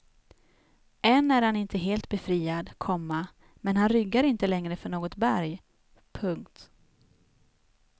Än är han inte helt befriad, komma men han ryggar inte längre för något berg. punkt